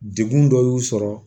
Degun dɔ y'u sɔrɔ